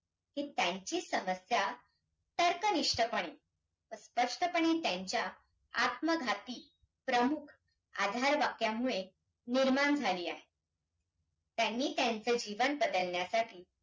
की त्यांची समस्या तर्कनिष्ठपण अं स्पष्टपणे त्यांच्या आत्मघाती प्रमुख आधार वाक्यामुळे निर्माण झाली आहे. त्यांनी त्यांचे जीवन बदलण्यासाठी